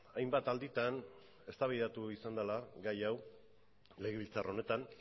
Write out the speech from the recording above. hainbat alditan eztabaidatu izan dela gai hau legebiltzar honetan